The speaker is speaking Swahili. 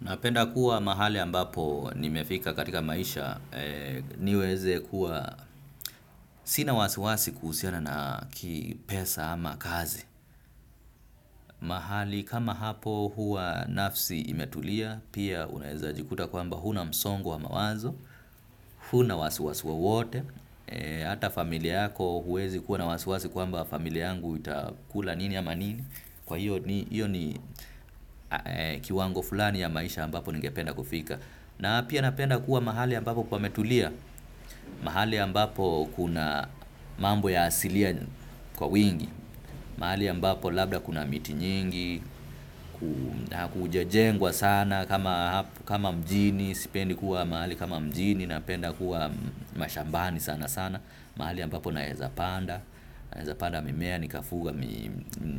Napenda kuwa mahali ambapo nimefika katika maisha niweze kuwa sina wasiwasi kuhusiana na kipesa ama kazi. Mahali kama hapo huwa nafsi imetulia, pia unaeza jikuta kwamba huna msongo wa mawazo, huna wasiwasi wowote, hata familia yako huwezi kuwa na wasiwasi kwamba familia yangu itakula nini ama nini, kwa hiyo ni kiwango fulani ya maisha ambapo ningependa kufika. Na pia napenda kuwa mahali ambapo pametulia, mahali ambapo kuna mambo ya asilia kwa wingi, mahali ambapo labda kuna miti nyingi, kujajengwa sana kama mjini, sipendi kuwa mahali kama mjini, napenda kuwa mashambani sana sana, mahali ambapo naezapanda, naezapanda mimea